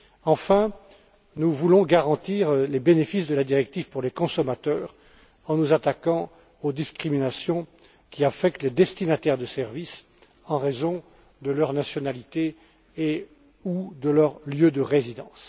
Enfin, nous voulons garantir les bénéfices de la directive pour les consommateurs en nous attaquant aux discriminations qui affectent les destinataires de services en raison de leur nationalité et ou de leur lieu de résidence.